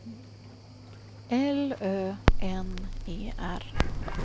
L Ö N E R